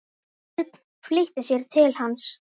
Örn flýtti sér til hans.